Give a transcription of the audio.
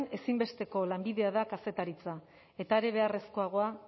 ezinbesteko lanbidea kazetaritza eta are beharrezkoagoa